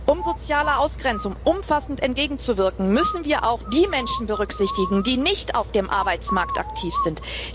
Um sozialer Ausgrenzung umfassend entgegenzuwirken, müssen wir auch die Menschen berücksichtigen, die nicht auf dem Arbeitsmarkt aktiv sind.